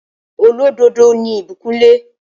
Olódodo ni Ìbíkúnlé